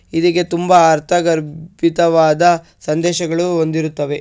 ಇದಕ್ಕೆ ತುಂಬಾ ಅರ್ಥಗರ್ಭಿತವಾದ ಸಂದೇಶಗಳು ಹೊಂದಿರುತ್ತವೆ.